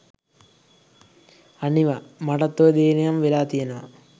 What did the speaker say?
අනිවා මටත් ඔය දේ නම් වෙලා තියනවා.